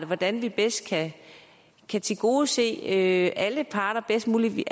hvordan vi bedst kan tilgodese alle parter bedst muligt